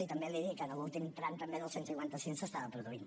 i també li dic que en l’últim tram també del cent i cinquanta cinc s’estava produint